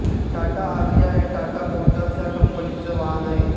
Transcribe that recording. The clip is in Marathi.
टाटा आरिया हे टाटा मोटर्स या कंपनीचे वाहन आहे